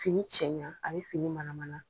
Fini cɛɲa, a bɛ fini manamana.